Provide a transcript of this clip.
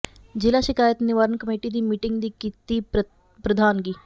ਜ਼ਿਲ੍ਹਾ ਸ਼ਿਕਾਇਤ ਨਿਵਾਰਨ ਕਮੇਟੀ ਦੀ ਮੀਟਿੰਗ ਦੀ ਕੀਤੀ ਪ੍ਰਧਾਨਗੀ